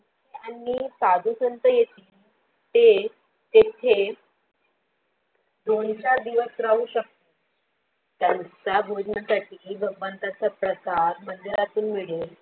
त्यांनी साधुसंत येती, ते तेथे दोन चार दिवस राहू शकत त्यांचा भोजनासाठी भगवंताचा प्रसाद त्यांना मंदिरातून मिळल